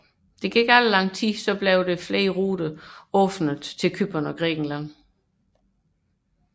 Kort tid efter blev flere ruter til Cypern og Grækenland åbnet